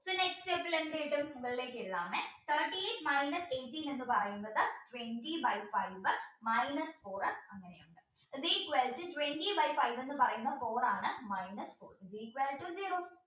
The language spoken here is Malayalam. next step ൽ എന്ത് കിട്ടും thirty eight minus eighteen എന്ന് പറയുന്നത് twenty by five minus four is equal to twenty by five എന്ന് പറയുന്നത് four ആണ് minus four is equal to zero